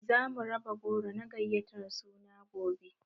Zamu raba goro na gayatar suna gobe